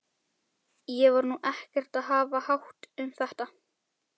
Ég var nú ekkert að hafa hátt um þetta.